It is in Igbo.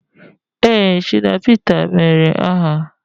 Ee, Shina Pita mere aha